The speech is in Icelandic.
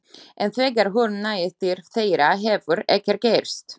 En þegar hún nær til þeirra hefur ekkert gerst.